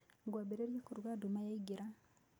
Ngwambĩrĩria kũruga nduma yaingĩra.